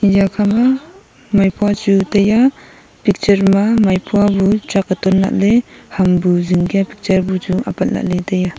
eya khama maipua chu taiya picture ma maipua bu chake ton lahley ham bu zingkya picture bu apat lahley taiya.